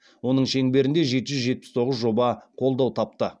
оның шеңберінде жеті жүз жетпіс тоғыз жоба қолдау тапты